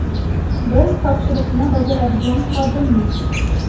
Biz topshiriqni bajaradigan xodimmiz.